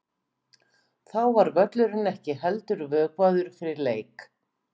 Þá var völlurinn ekki heldur vökvaður fyrir leik.